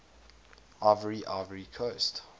ivoire ivory coast